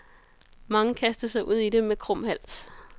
Mange kastede sig ud i det med krum hals.